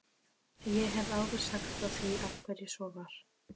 Ég hef áður sagt frá því af hverju svo var.